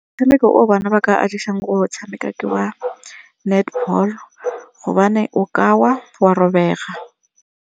Motshameko o bona ba ka go o tshameka ke wa netball gobane o ka wa, wa robega.